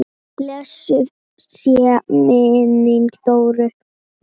Blessuð sé minning Dóru.